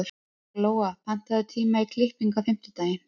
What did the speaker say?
Glóa, pantaðu tíma í klippingu á fimmtudaginn.